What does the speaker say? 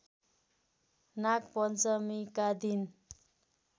नागपञ्चमीका दिन